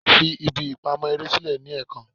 Fi ibi ipamọ ere silẹ ni ẹẹkan!